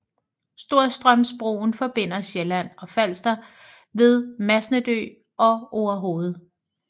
Storstrømsbroen forbinder Sjælland og Falster ved Masnedø og Orehoved